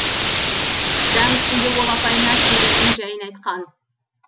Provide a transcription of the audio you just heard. дәм үстінде ол апайына келуінің жайын айтқан